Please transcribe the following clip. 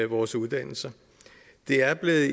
vores uddannelser det er blevet